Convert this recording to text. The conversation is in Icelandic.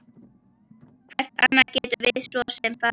Hvert annað gætum við svo sem farið?